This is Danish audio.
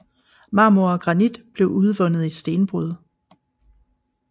Marmor og Granit blev udvundet i stenbrud